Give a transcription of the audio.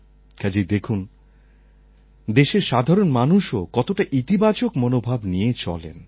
কাজেই দেখুন দেশের সাধারণ মানুষও কতটা ইতিবাচক মনোভাব নিয়ে চলেন